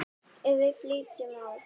Ef við flytjum á